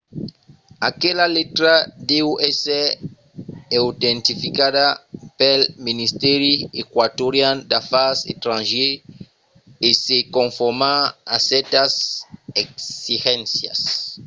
aquela letra deu èsser autentificada pel ministèri eqüatorian d’afars estrangièrs e se conformar a cèrtas exigéncias